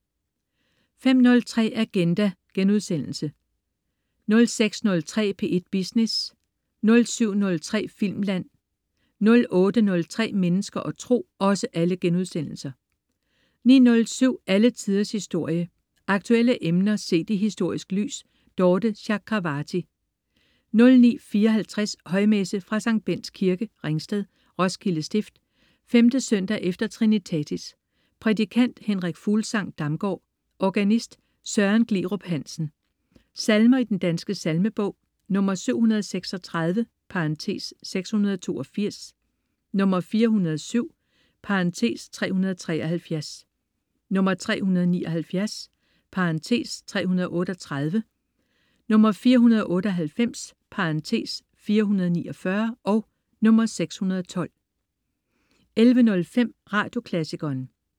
05.03 Agenda* 06.03 P1 Business* 07.03 Filmland* 08.03 Mennesker og Tro* 09.07 Alle Tiders Historie. Aktuelle emner set i historisk lys. Dorthe Chakravarty 09.54 Højmesse. Fra Sct. Bendts Kirke, Ringsted. Roskilde Stift. 5. søndag efter trinitatis. Prædikant: Henrik Fuglsang-Damgaard. Organist: Søren Glerup Hansen. Salmer i Den Danske Salmebog: 736 (682), 407 (373) , 379 (338), 498 (449), 612 11.05 Radioklassikeren